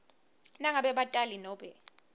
nangabe batali nobe